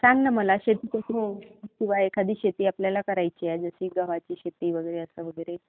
सांग ना मला, किव्हा एखादी शेती आपल्याला करायची आहे, जसं गव्हाची शेती वगैरे